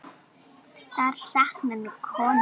Þær sakna nú vinkonu sinnar.